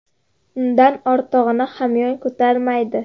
Undan ortig‘ini hamyon ko‘tarmaydi.